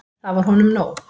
Það var honum nóg.